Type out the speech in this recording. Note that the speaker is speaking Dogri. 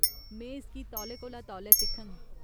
में इसगी तौले कोला तौले सिखङ।